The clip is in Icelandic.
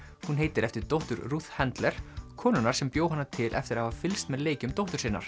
hún heitir eftir dóttur Ruth Handler konunnar sem bjó hana til eftir að hafa fylgst með leikjum dóttur sinnar